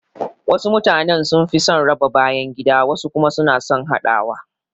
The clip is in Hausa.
Wasu mutane sun fi son raba bayangida wasu kuma suna son haɗawa